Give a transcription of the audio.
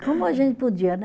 Como a gente podia, né?